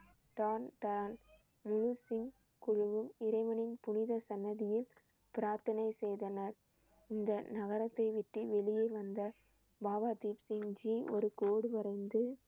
குழுவும் இறைவனின் புனித சன்னதியில் பிரார்த்தனை செய்தனர். இந்த நகரத்தை விட்டு வெளியே வந்த பாபா தீப் சிங் ஜி ஒரு கோடு வரைந்து